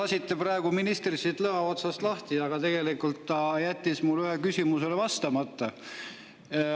Lasite praegu ministri lõa otsast lahti, aga tegelikult ta jättis ühele mu küsimusele vastamata.